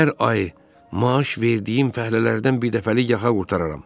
Hər ay maaş verdiyim fəhlələrdən birdəfəlik yaxa qurtararam.